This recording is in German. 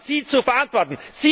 Das haben Sie zu verantworten!